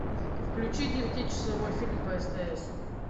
включи девятичасовой фильм по стс